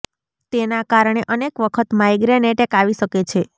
તેનાં કારણે અનેક વખત માઇગ્રેન ઍટૅક આવી શકે છે